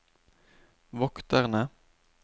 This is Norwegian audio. vokterne